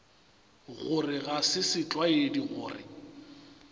gore ga se setlwaedi gore